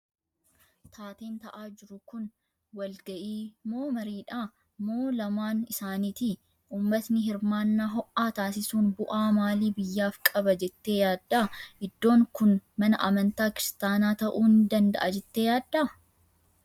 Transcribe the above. Taateen ta'aa jiru kun wal ga'ii moo mariidha? Moo lamaan isaaniiti? Uummatni hirmaannaa ho'aa taasisuun bu'aa maalii biyyaaf qaba jettee yaadda? Iddoon kun mana amantaa kiristaanaa ta'uu ni danda'a jettee yaaddaa?